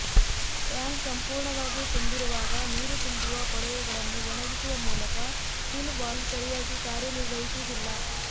tank ಸಂಪೂರ್ಣವಾಗಿ ತುಂಬಿರುವಾಗ ನೀರು ತುಂಬುವ ಕೊಳವೆಗಳನ್ನು ಒಣಗಿಸುವ ಮೂಲಕ ಫಿಲ್ ವಾಲ್ವ್ ಸರಿಯಾಗಿ ಕಾರ್ಯನಿರ್ವಹಿಸುವುದಿಲ್ಲ